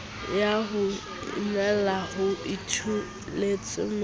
ya ho inwella ho ituletswemoriting